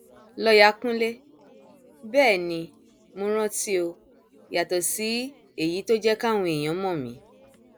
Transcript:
lọọyà kúnlẹ bẹẹ ni mo rántíó yàtọ sí èyí tó jẹ káwọn èèyàn mọ mí